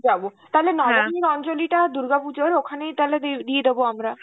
যাব, তাহলে নবমীর অঞ্জলিতা দুর্গা পুজোর ওখানেই তাহলে দি~ দিয়ে দেব আমরা,